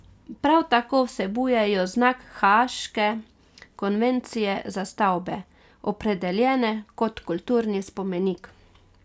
Prav tako vsebujejo znak haaške konvencije za stavbe, opredeljene kot kulturni spomenik.